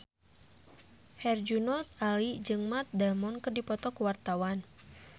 Herjunot Ali jeung Matt Damon keur dipoto ku wartawan